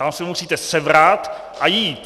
Tam se musíte sebrat a jít.